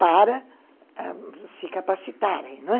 para ãh se capacitarem, não é?